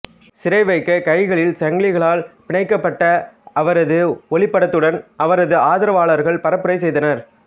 சிறைவைக்க கைகளில் சங்கிலிகளில் பிணைக்கபட்ட அவரது ஒளிப்படத்துடன் அவரது ஆதரவாளர்கள் பரப்புரை செய்ததனர்